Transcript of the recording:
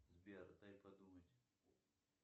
сбер дай подумать